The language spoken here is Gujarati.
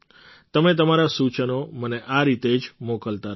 તમે તમારાં સૂચનો મને આ રીતે જ મોકલતા રહો